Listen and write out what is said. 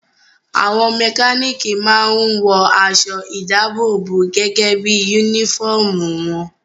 Àwọn mẹkánìkì máa n wọ aṣọ ìdábòbò gẹ́gẹ́ bí yúnífọ̀mù wọn